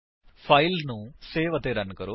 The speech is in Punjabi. ਫਾਇਲ ਨੂੰ ਸੇਵ ਅਤੇ ਰਨ ਕਰੋ